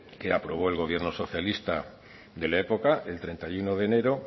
que aprobó el gobierno socialista de la época el treinta y uno de enero